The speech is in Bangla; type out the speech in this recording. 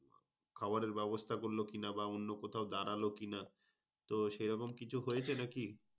খাবারের ব্যবস্থা করলো কিনা? বা, অন্য কোথাও দাঁড়ালো কিনা? তো সেইরকম কিছু হয়েছে নাকি?